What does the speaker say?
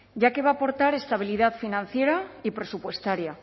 ya que va a aportar estabilidad financiera y presupuestaria